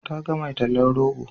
Ta ga mai tallan rogo.